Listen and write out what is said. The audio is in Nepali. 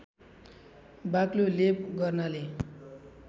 बाक्लो लेप गर्नाले